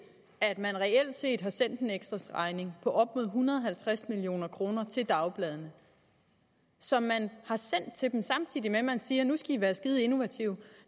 at man reelt set har sendt en ekstraregning på op imod en hundrede og halvtreds million kroner til dagbladene som man har sendt til dem samtidig med at man siger nu skal i være innovative